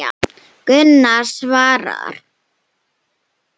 Gunnar svarar.